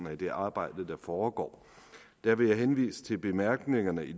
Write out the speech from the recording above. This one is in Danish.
det arbejde der foregår der vil jeg henvise til bemærkningerne i